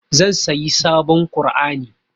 Zan sayi sabon ƙur'ani.